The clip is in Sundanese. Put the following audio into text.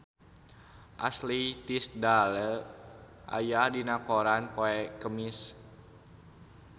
Ashley Tisdale aya dina koran poe Kemis